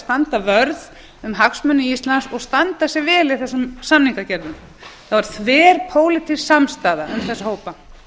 standa vörð um hagsmuni íslands og standa sig vel í þessum samningagerðum það var þverpólitísk samstaða um þessa hópa